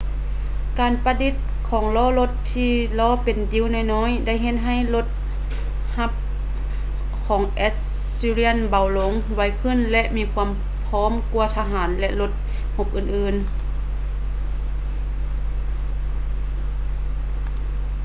ການປະດິດຂອງລໍ້ລົດທີ່ລໍ້ເປັນດິ້ວນ້ອຍໆໄດ້ເຮັດໃຫ້ລົດຮົບຂອງແອັດສຊີຣຽນເບົາລົງ ໄວຂຶ້ນ ແລະ ມີຄວາມພ້ອມກວ່າທະຫານ ແລະ ລົດຮົບອື່ນໆ